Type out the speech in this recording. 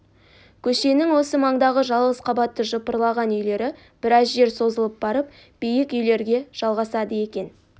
көшенің осы маңдағы жалғыз қабатты жыпырлаған үйлері біраз жер созылып барып биік үйлерге жалғасады екен